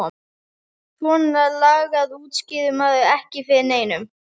Svona lagað útskýrði maður ekki fyrir neinum.